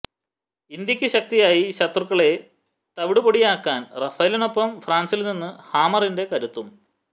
ഇന്ത്യക്ക് ശക്തിയായി ശത്രുക്കളെ തവിടുപൊടിയാക്കാൻ റാഫേലിനൊപ്പം ഫ്രാന്സില് നിന്ന് ഹാമറിന്റെ കരുത്തും